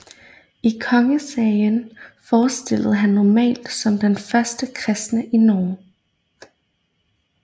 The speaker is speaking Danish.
I Kongesagaen fremstilles han normalt som den første kristne i Norge